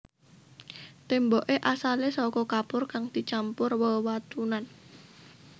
Témboké asalé saka kapur kang dicampur wewatunan